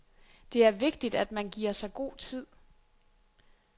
Det er vigtigt, at man giver sig god tid.